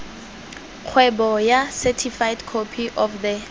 kgweboa certified copy of the